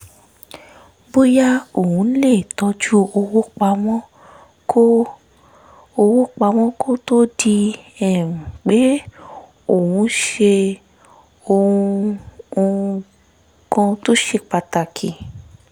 bóyá òun lè tọ́jú owó pamọ́ kó owó pamọ́ kó tó di um pé òun ṣe ohun um kan tó ṣe pàtàkì